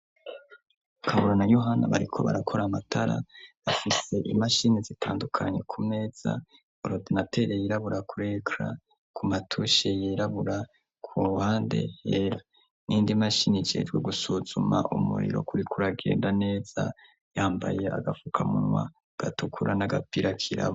Kaburo na yohana bariko barakora amatara afise imashini zitandukanye ku meza orodanatele yirabura kurekra ku matushe yirabura ku ruhande hera nindi mashini jejwe gusuzuma umuriro kuri kuragenda neza yambaye agapfukamunwa gatukura nag apirakirao.